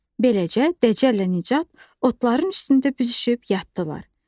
Beləcə, Dəcəllə Nicat otların üstündə büzüşüb yatdılar.